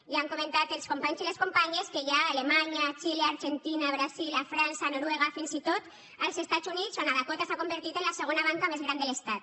ja han comentat els companys i les companyes que n’hi ha a alemanya a xile a l’argentina al brasil a frança a noruega fins i tot als estats units on a dakota s’ha convertit en la segona banca més gran de l’estat